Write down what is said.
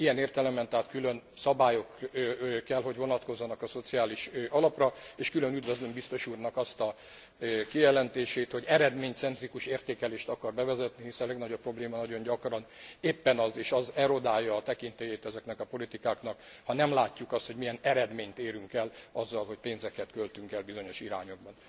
Ilyen értelemben tehát külön szabályok kell hogy vonatkozzanak a Szociális Alapra, és külön üdvözlöm biztos úrnak azt a kijelentését, hogy eredménycentrikus értékelést akar bevezetni, hiszen a legnagyobb probléma nagyon gyakran éppen az és az erodálja a tekintélyét ezeknek a politikáknak ha nem látjuk azt, hogy milyen eredményt érünk el azzal, hogy pénzeket költünk el bizonyos irányokba.